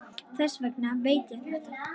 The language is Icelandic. Þess vegna veit ég þetta.